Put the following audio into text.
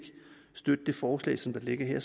støtte det forslag som ligger her